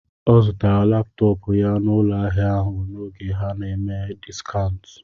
Ọ zụtara laptọọpụ ya n'ụlọ ahịa ahụ n'oge ha nà-eme dịskántù